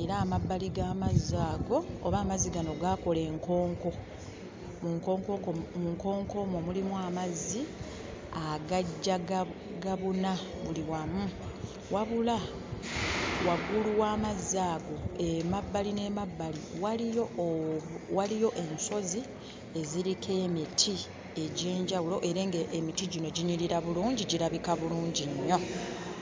era amabbali g'amazzi ago oba amazzi gano gaakola enkonko. Mu nkonko mu nkonko omwo mulimu amazzi agajja gabuna buli wamu. Wabula waggulu w'amazzi ago emabbali n'emabbali waliyo ensozi eziriko emiti egy'enjawulo era ng'emiti gino ginyirira bulungi, girabika bulungi nnyo.